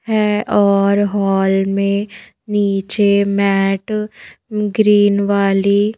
हैऔर हॉल में नीचे मैट ग्रीन वाली --